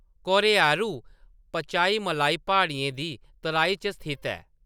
कोरैयारू पचाईमलाई प्हाड़ियें दी तराई च स्थित ऐ।